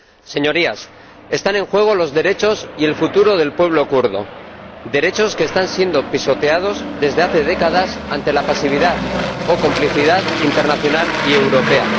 Señorías, están en juego los derechos y el futuro del pueblo kurdo, derechos que están siendo pisoteados desde hace décadas ante la pasividad o complicidad internacional y europea.